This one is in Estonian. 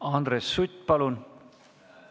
Andres Sutt, palun!